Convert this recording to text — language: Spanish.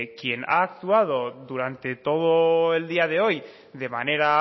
quien ha actuado durante todo el día de hoy de manera